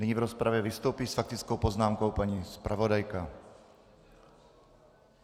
Nyní v rozpravě vystoupí s faktickou poznámkou paní zpravodajka.